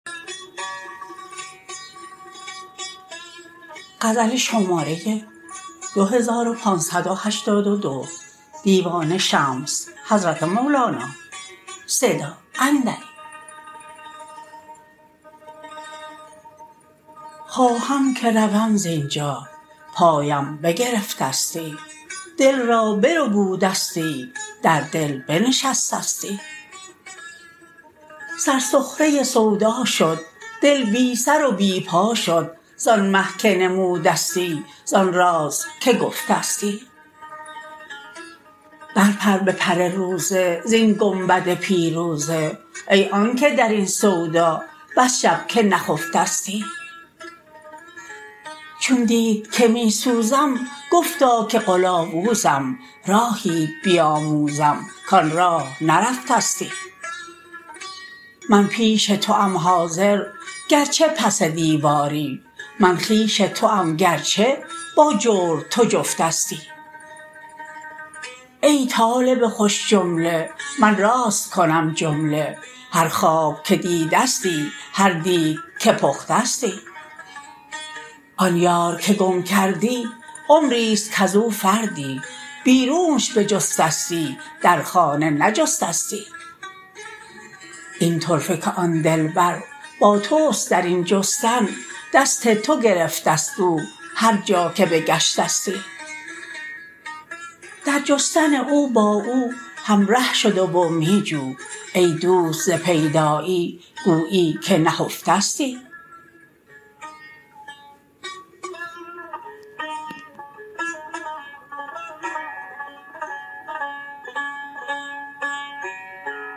خواهم که روم زین جا پایم بگرفته ستی دل را بربوده ستی در دل بنشسته ستی سر سخره سودا شد دل بی سر و بی پا شد زان مه که نموده ستی زان راز که گفته ستی برپر به پر روزه زین گنبد پیروزه ای آنک در این سودا بس شب که نخفته ستی چون دید که می سوزم گفتا که قلاوز م راهیت بیاموزم کان راه نرفته ستی من پیش توام حاضر گرچه پس دیواری من خویش توام گرچه با جور تو جفت استی ای طالب خوش جمله من راست کنم جمله هر خواب که دیده ستی هر دیگ که پخته ستی آن یار که گم کردی عمری است کز او فردی بیرونش بجسته ستی در خانه نجسته ستی این طرفه که آن دلبر با توست در این جستن دست تو گرفته ست او هر جا که بگشته ستی در جستن او با او همره شده و می جو ای دوست ز پیدایی گویی که نهفته ستی